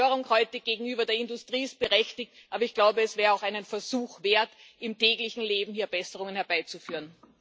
Die Empörung heute gegenüber der Industrie ist berechtigt, aber ich glaube, es wäre auch einen Versuch wert, im täglichen Leben hier Besserungen herbeizuführen.